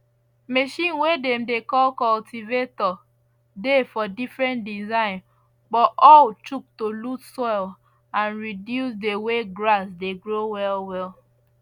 machine way dem dey call cultivator dey for different design but all chuck to lose soil and reduce the way grass dey grow well well